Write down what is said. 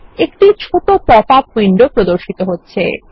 একটি ছোট pop up window প্রদর্শিত হচ্ছে